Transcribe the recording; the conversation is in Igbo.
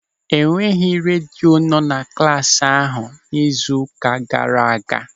E nweghị redio nọ na klasị ahụ n'izu ụka gaara aga.